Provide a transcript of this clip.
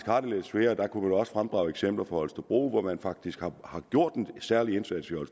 har det lidt svært der kunne man også fremdrage eksempler fra holstebro hvor man faktisk har gjort en særlig indsats og